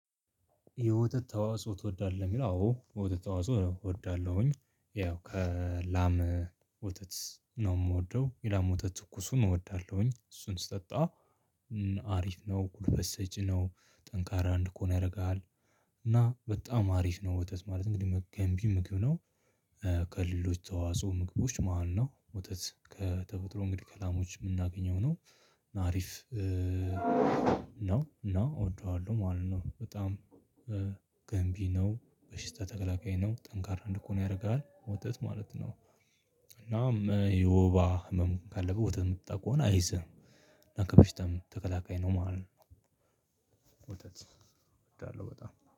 የወተት ተዋጽኦ ትወዳለህን? አዎ ወተት ተዋጽኦ እወዳለሁኝ ያው ከላም ወተት ነው ምወደው። የላም ወተት ትኩሱን እወዳለሁኝ እሱን ስጠጣ አሪፍ ነው፤ ጉልበት ሰጪ ነው፤ ጠንካራ አንድኮን ያረጋል እና በጣም አሪፍ ነው ወተት ማለት እንግዲህ ገንቢ ምግብ ነው ከሌሎች ተዋጽኦ ምግቦች መሃል ነው። ወተት ከተፈጥሮ ምርት ላሞች ምናገኘው ነው አሪፍ ነው እና እወደዋለሁ ማለት ነው በጣም ገንቢ ነው፤ በሽታ ተከላካይ ነው፤ ጠንካራ እንዲኮን ያረጋል ወተት ማለት ነው። እናም የወባ ህመም ካለብህ ወተት ምትጠጣ ከሆነ አይዝህም። ከበሽታም ተከላካይ ነው ማለት ነው። ወተት እወዳለሁ በጣም።